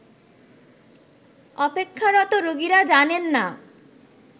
অপেক্ষারত রোগীরা জানেননা